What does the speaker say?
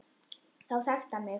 Þá þekkti hann mig